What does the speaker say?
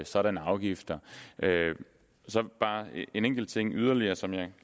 sådanne afgifter så bare en enkelt ting yderligere som jeg